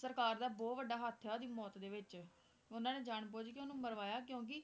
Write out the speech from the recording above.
ਸਰਕਾਰ ਦਾ ਬਹੁਤ ਵੱਡਾ ਹੱਥ ਆ ਉਹਦੀ ਮੌਤ ਦੇ ਵਿੱਚ ਉਹਨਾਂ ਨੇ ਜਾਣਬੁਝ ਕੇ ਉਹਨੂੰ ਮਰਵਾਇਆ ਕਿਉਂਕਿ